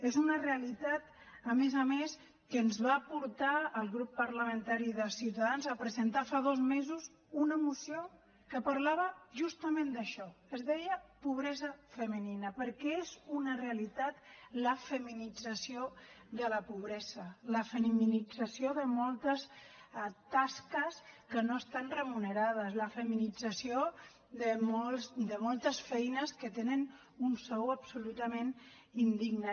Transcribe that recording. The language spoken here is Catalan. és una realitat a més a més que ens va portar al grup parlamentari de ciutadans a presentar fa dos mesos una moció que parlava justament d’això es deia pobresa femenina perquè és una realitat la feminització de la pobresa la feminització de moltes tasques que no estan remunerades la feminització de moltes feines que tenen un sou absolutament indigne